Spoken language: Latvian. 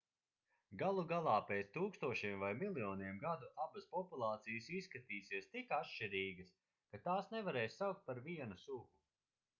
galu galā pēc tūkstošiem vai miljoniem gadu abas populācijas izskatīsies tik atšķirīgas ka tās nevarēs saukt par vienu sugu